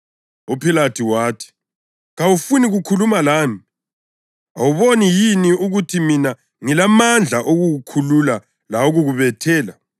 UPhilathu wathi, “Kawufuni kukhuluma lami? Awuboni yini ukuthi mina ngilamandla okukukhulula lawokukubethela?”